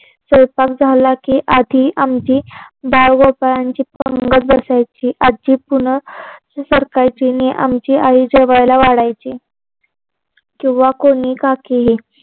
स्वयंपाक झाला की आधी आमची बालगोपाळांची पंगत बसायची. आजी पुन्हा सरकायची आणि आमची आई जेवायला वाढायची. किंवा कोणी काकीही